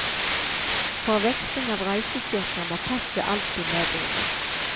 For veksling av reisesjekker må passet alltid medbringes.